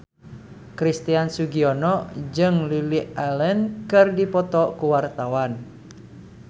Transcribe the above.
Christian Sugiono jeung Lily Allen keur dipoto ku wartawan